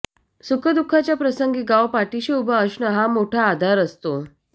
सुखदुःखाच्या प्रसंगी गाव पाठीशी उभा असणं हा मोठा आधार असतो